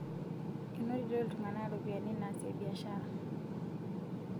Enotito iltung'ana ropiyani naasie biashara